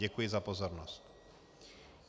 Děkuji za pozornost.